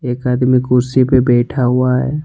एक आदमी कुर्सी पे बैठा हुआ है।